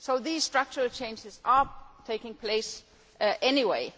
So these structural changes are taking place anyway.